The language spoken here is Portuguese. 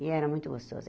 E era muito gostoso.